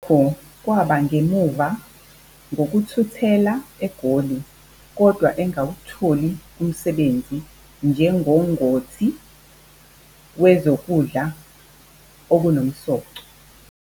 Lokhu kwaba ngemuva ngokuthuthela eGoli kodwa engawutholi umsebenzi njengongoti wezokudla okunomsoco.